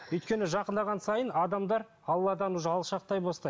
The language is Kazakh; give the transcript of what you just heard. өйткені жақындаған сайын адамдар алладан уже алшақтай бастайды